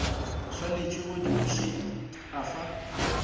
swanetše go di bušet afa